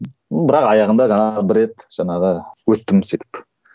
бірақ аяғында жаңағы бір рет жаңағы өттім сөйтіп